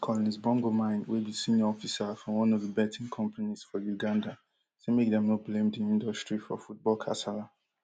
but collins bongomine wey be senior officer for one of di betting companies for uganda say make dem no blame di industry for football kasala